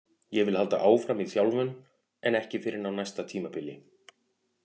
Ég vil halda áfram í þjálfun en ekki fyrr en á næsta tímabili.